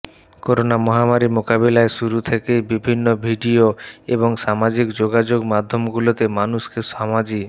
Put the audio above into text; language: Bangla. করোনা মহামারি মোকাবিলায় শুরু থেকেই বিভিন্ন ভিডিও এবং সামাজিক যোগাযোগ মাধ্যমগুলোতে মানুষকে সামাজি